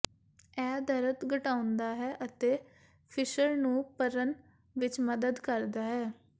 ਇਹ ਦਰਦ ਘਟਾਉਂਦਾ ਹੈ ਅਤੇ ਫਿਸ਼ਰ ਨੂੰ ਭਰਨ ਵਿੱਚ ਮਦਦ ਕਰਦਾ ਹੈ